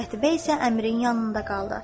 Qətibə isə Əmirin yanında qaldı.